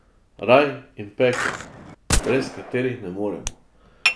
Raj in pekel, brez katerih ne moremo.